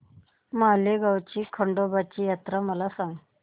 माळेगाव ची खंडोबाची यात्रा मला सांग